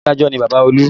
Adájọ́ ni Bàbá olú